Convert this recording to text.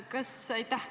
Aitäh!